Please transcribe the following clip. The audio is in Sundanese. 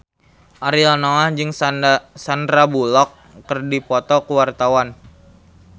Ariel Noah jeung Sandar Bullock keur dipoto ku wartawan